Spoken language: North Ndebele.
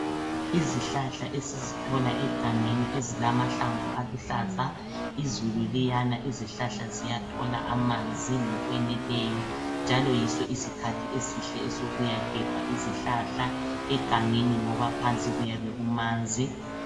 Izihlahla esizithola egangeni ezilamahlamvu aluhlaza, izulu liyana, izihlahla ziyathola amanzi ngokweneleyo njalo yiso isikhathi esihle esiyokuyagebha izihlahla egangeni ngoba phansi kuyabe kumanzi.